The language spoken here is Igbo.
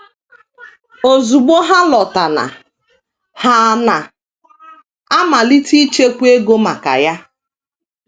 “ Ozugbo ha lọtana, ha na - amalite ichekwa ego maka ya. ”